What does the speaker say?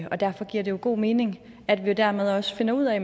og derfor giver det jo god mening at vi dermed også finder ud af